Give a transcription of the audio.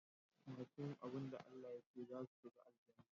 Masu yin abun da ALLAH yace zasu shiga Aljannah